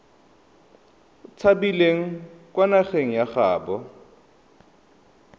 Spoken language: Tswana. tshabileng kwa nageng ya gaabo